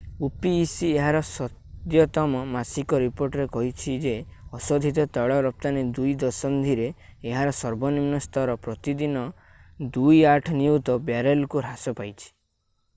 opec ଏହାର ସଦ୍ୟତମ ମାସିକ ରିପୋର୍ଟରେ କହିଛି ଯେ ଅଶୋଧିତ ତୈଳ ରପ୍ତାନି ଦୁଇ ଦଶନ୍ଧିରେ ଏହାର ସର୍ବନିମ୍ନ ସ୍ତର ପ୍ରତିଦିନ 2.8 ନିୟୁତ ବ୍ୟାରେଲକୁ ହ୍ରାସ ପାଇଛି